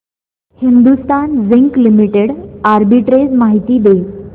Hindustan zinc limited arbitrage माहिती दे